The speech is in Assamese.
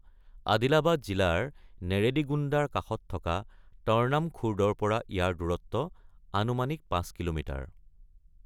আদিলাবাদ জিলাৰ নেৰেডিগোণ্ডাৰ কাষত থকা তৰ্নাম খুৰ্দৰ পৰা ইয়াৰ দূৰত্ব আনুমানিক ৫ কিলোমিটাৰ।